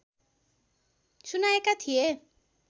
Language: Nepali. सुनाएका थिए